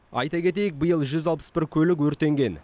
айта кетейік биыл жүз алпыс бір көлік өртенген